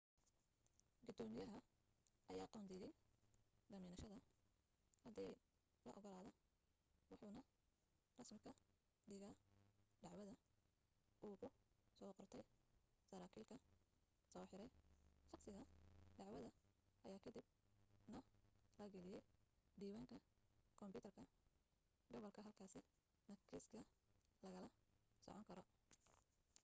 gudoomiyaha ayaa qoondeeyo damiinashada hadii la ogolaado wuxuu na rasmi ka dhigaa dacwada uu ku soo qortay saraakiilka soo xiray shakhsiga dacwadda ayaa ka dib na la geliyaa diiwaanka kombuyuutarka gobolka halkaasi na kiiska lagala socon karo